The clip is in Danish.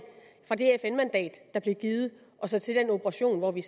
fra det fn mandat der blev givet og så til den operation hvor vi